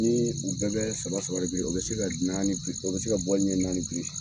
Nii u bɛɛ bɛɛ saba saba de biri, o bɛ se ka naani bri o bɛ se ka ɲɛ naani biri.